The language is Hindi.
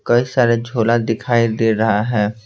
कई सारे झोला दिखाई दे रहा है।